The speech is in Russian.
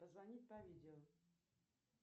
позвонить по видео